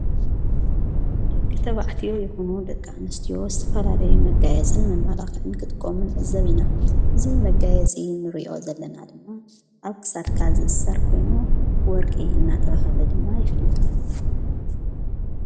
ድቂ ተባዕትዮ ይሁኑ ደቃ ምስትዎ ዝፋላለዊ መጋየጽን መማላኽእን ክጥቆምን ዕዘብ ኢና እዙይ መጋየጺ ንርእዮ ዘለና ድማ ኣብ ክሳድካ ዝእሠር ኮይኑ ወርቂ እናተብሃለ ድማ ይፍለጠ።